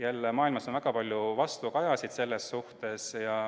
Jälle, maailmas on väga palju vastukaja sellele.